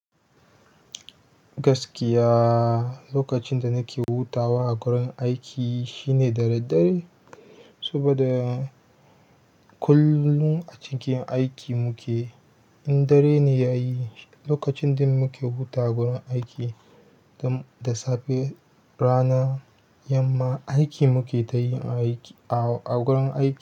Gaskiya lokacin da nake hutawa a wurin aiki shine da daddare saboda kullum a cikin aiki muke. In dare ne ya yi lokacin da muke hutawa a gurin aiki da safe da rana yamma aiki muke tayi a wurin aiki.